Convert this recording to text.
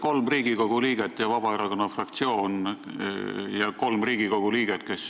Kolm Riigikogu liiget on alla kirjutanud Vabaerakonna fraktsiooni eile algatatud otsuse eelnõule.